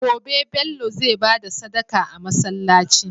Gobe Bello zai bada Sadaka a masalaci